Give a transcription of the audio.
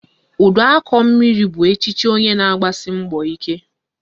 Uduakọmmiri bụ echiche onye na-agbasi mbọ ike